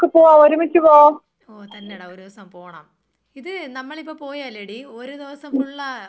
ഓ തന്നെടാ ഒരു ദിവസം പോണം ഇത് നമ്മളിപ്പോ പോയാലെടി ഒരു ദിവസം ഫുള്ള് ആകുമോ പോയിട്ട് വരാൻ.